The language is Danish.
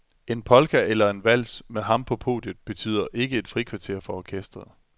En polka eller en vals med ham på podiet betyder ikke et frikvarter for orkestret.